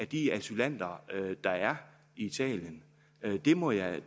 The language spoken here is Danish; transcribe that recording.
de asylanter der er i italien det må jeg